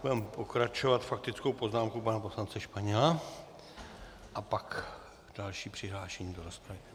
Budeme pokračovat faktickou poznámkou pana poslance Španěla a pak další přihlášení do rozpravy.